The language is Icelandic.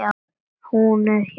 Hún er hér kært kvödd.